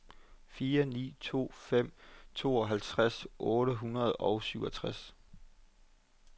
fire ni to fem tooghalvtreds otte hundrede og syvogtres